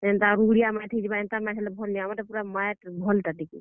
ଯେନ୍ତା ରୁଗ୍ ଡିଆ ମାଏଟ୍ ହେଇଥିବା ବେଲେ ଭଲ ନାଇଁ। ଆମର୍ ଟା ମାଏଟ୍ ଭଲ୍ ଟା ଟିକେ।